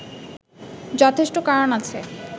যথেষ্ট কারণ আছে